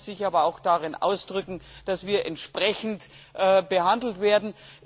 Dies sollte sich aber auch darin ausdrücken, dass wir entsprechend behandelt werden.